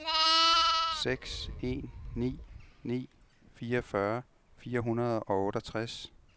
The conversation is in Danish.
seks en ni ni fireogfyrre fire hundrede og otteogtres